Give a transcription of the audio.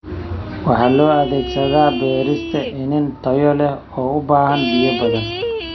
Waxa loo adeegsadaa beerista iniin tayo leh oo u baahan biyo badan.